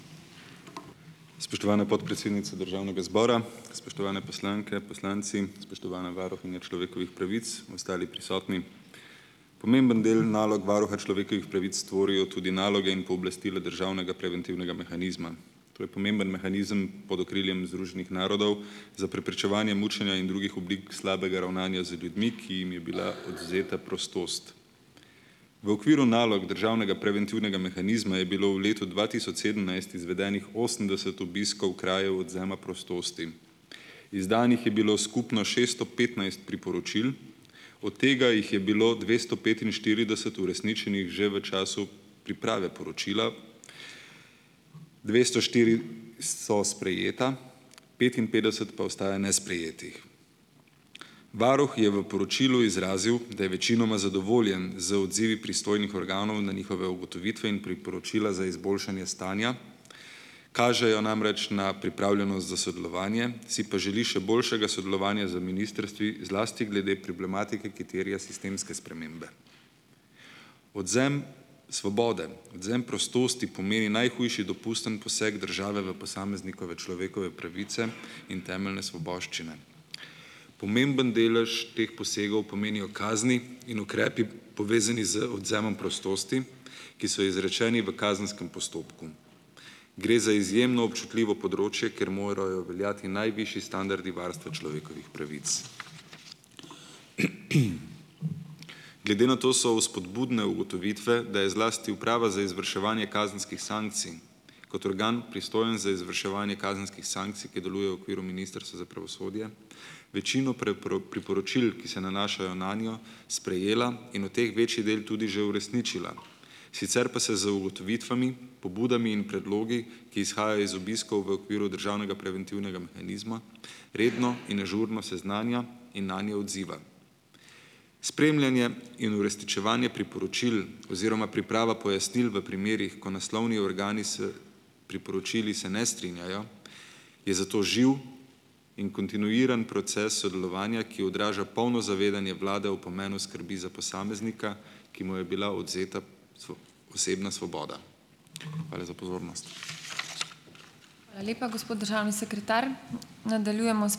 Spoštovana podpredsednica državnega zbora, spoštovane poslanke, poslanci, spoštovana varuhinja človekovih pravic in ostali prisotni! Pomemben del nalog varuha človekovih pravic tvorijo tudi naloge in pooblastila državnega preventivnega mehanizma. To je pomemben mehanizem pod okriljem Združenih narodov za preprečevanje mučenja in drugih oblik slabega ravnanja z ljudmi, ki jim je bila odvzeta prostost. V okviru nalog državnega preventivnega mehanizma je bilo v letu dva tisoč sedemnajst izvedenih osemdeset obiskov krajev odvzema prostosti. Izdanih je bilo skupno šesto petnajst priporočil, od tega jih je bilo dvesto petinštirideset uresničenih že v času priprave poročila, dvesto štiri so sprejeta, petinpetdeset pa ostaja nesprejetih. Varuh je v poročilu izrazil, da je večinoma zadovoljen z odzivi pristojnih organov na njihove ugotovitve in priporočila za izboljšanje stanja. Kažejo namreč na pripravljenost za sodelovanje, si pa želi še boljšega sodelovanja z ministrstvi, zlasti glede problematike, ki terja sistemske spremembe. Odvzem svobode, odvzem prostosti pomeni najhujši dopustni poseg države v posameznikove človekove pravice in temeljne svoboščine. Pomemben delež teh posegov pomenijo kazni in ukrepi, povezani z odvzemom prostosti, ki so izrečeni v kazenskem postopku. Gre za izjemno občutljivo področje, ker morajo veljati najvišji standardi varstva človekovih pravic. Glede na to so vzpodbudne ugotovitve, da je zlasti Uprava za izvrševanje kazenskih sankcij kot organ, pristojen za izvrševanje kazenskih sankcij, ki deluje v okviru Ministrstva za pravosodje, večino priporočil, ki se nanašajo nanjo, sprejela in od teh večji del tudi že uresničila. Sicer pa se z ugotovitvami, pobudami in predlogi, ki izhajajo iz obiskov v okviru državnega preventivnega mehanizma, redno in ažurno seznanja in nanje odziva. Spremljanje in uresničevanje priporočil oziroma priprava pojasnil v primerih, ko naslovni organi s priporočili se ne strinjajo, je zato živ in kontinuiran proces sodelovanja, ki odraža polno zavedanje vlade o pomenu skrbi za posameznika, ki mu je bila odvzeta osebna svoboda. Hvala za pozornost.